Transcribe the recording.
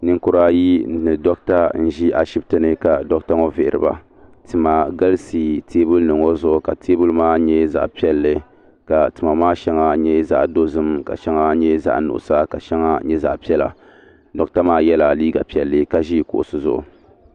nɛkuriayi n ʒɛ doɣitɛni ka doɣitɛ ŋɔ viriba tima galisi tɛbulinim ŋɔ zuɣ ka tɛbuli maa nyɛ zaɣ piɛli ka tima maa shɛŋa nyɛ zaɣ dozim shɛŋa nyɛ zaɣ nuɣisu shɛŋa nyɛ zaɣ piɛlla doɣitɛ maa yɛla liga piɛli ka ʒɛ kuɣisi zuɣ